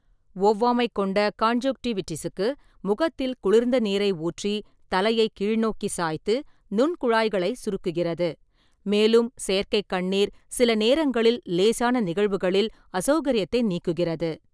ஒவ்வாமை கொண்ட கான்ஜுக்டிவிடிஸுக்கு, முகத்தில் குளிர்ந்த நீரை ஊற்றி, தலையை கீழ்நோக்கி சாய்த்து, நுண்குழாய்களை சுருக்குகிறது, மேலும் செயற்கை கண்ணீர் சில நேரங்களில் லேசான நிகழ்வுகளில் அசௌகரியத்தை நீக்குகிறது.